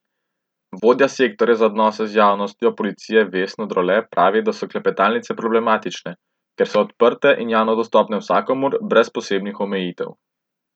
Vodja sektorja za odnose z javnostjo policije Vesna Drole pravi, da so klepetalnice problematične, ker so odprte in javno dostopne vsakomur brez posebnih omejitev.